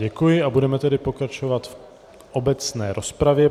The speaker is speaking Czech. Děkuji a budeme tedy pokračovat v obecné rozpravě.